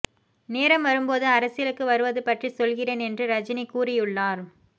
நேரம் வரும்போது அரசியலுக்கு வருவது பற்றிச் சொல்கிறேன் என்று ரஜினி கூறியுள்ளார்